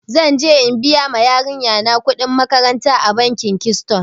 Zan je in biya ma yarinya na kuɗin makaranta a bankin kiston.